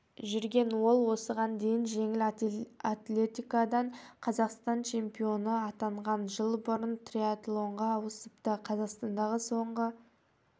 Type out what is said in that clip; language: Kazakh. жүрген ол осыған дейін жеңіл атлетикадан қазақстан чемпоионы атанған жыл бұрын триатлонға ауысыпты қазақстандағы соңғы